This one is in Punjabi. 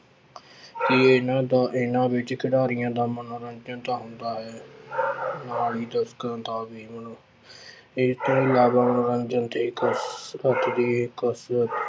ਕਿ ਇਹਨਾਂ ਦਾ ਇਹਨਾਂ ਵਿੱਚ ਖਿਡਾਰੀਆਂ ਦਾ ਮਨੋਰੰਜਨ ਤਾਂ ਹੁੰਦਾ ਹੈ ਨਾਲ ਹੀ ਇਹ ਤੋਂ ਇਲਾਵਾ ਮਨੋਰੰਜਨ ਤੇ ਕਸਰਤ ਦੇ